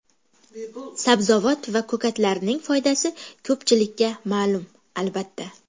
Sabzavot va ko‘katlarning foydasi ko‘pchilikka ma’lum, albatta.